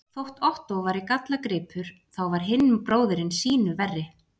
Þótt Ottó væri gallagripur, þá var hinn bróðirinn sýnu verri.